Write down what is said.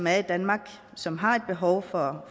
er i danmark som har et behov for